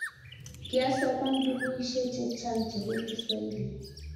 kiasoman bukuishe chechang chebo kiswahili